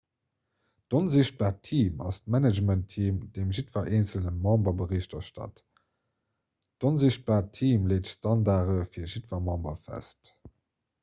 d''onsichtbaart team' ass d'managementteam deem jiddwer eenzele member bericht erstatt. d'onsichtbaart team leet d'standarde fir jiddwer member fest